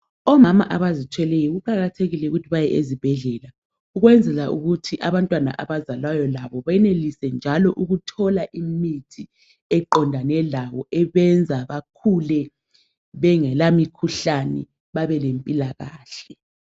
Omama abazithweleyo kuqakathekile ukuthi baye ezibhedlela ukwenzela ukuthi abantwana abazalwayo labo banelise njalo ukuthola imithi eqondane labo ebenza bakhule bengelamikhuhlane babelempilakahle.